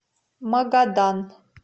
магадан